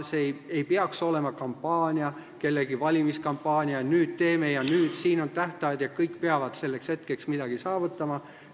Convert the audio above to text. See ei peaks olema kampaania, kellegi valimiskampaania, et nüüd teeme ja siin on tähtajad ja kõik peavad selleks hetkeks midagi saavutama.